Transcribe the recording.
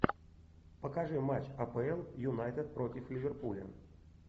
покажи матч апл юнайтед против ливерпуля